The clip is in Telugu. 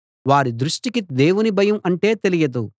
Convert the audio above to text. వారి దృష్టికి దేవుని భయం అంటే తెలియదు